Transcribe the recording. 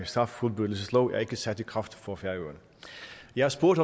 straffuldbyrdelseslov ikke er sat i kraft for færøerne jeg har spurgt